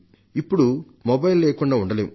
ఇప్పుడు మొబైల్ లేకుండా ఉండమంటే ఉండలేం